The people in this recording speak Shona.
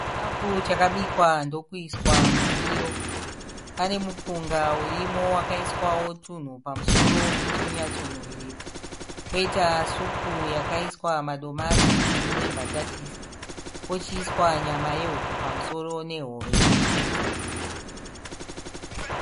Chikafu chakabikwa ndokuiswa mundiro. Pane mupunga urimo wakaiswawo tunhu pamusoro kuti unyatso nhuwirira, koita supu yakaiswa madomasi ine nembatatisi, pochiiswa nyama yehuku pamusoro nehove imwechete.